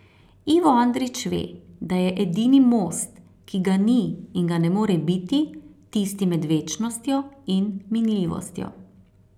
Ivo Andrić ve, da je edini most, ki ga ni in ga ne more biti, tisti med večnostjo in minljivostjo.